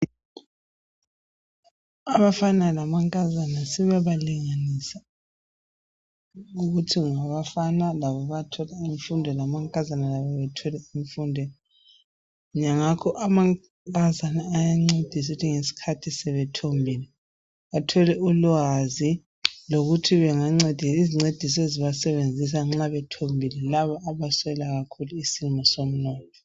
Abafana lamankazana sebabalinganisa ukuthi labafana labo bayathola imfundo lamankazana lawo athole imfundo. Ngakho amankazana ayancedisa ukuthi ngesikhathi sebethombile bathole ulwazi lokuthi izincediso abazisebenzisayo nxa bethombile labo abaswela kakhulu isimo somnotho.